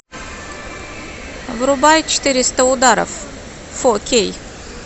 врубай четыреста ударов фо кей